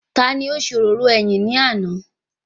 Taani ó ṣe òróró ẹyìn ní àná?